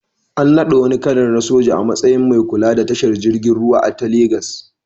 An naɗa wani kanar na soja a matsayin mai kula da tashar jiragen ruwa ta Legas.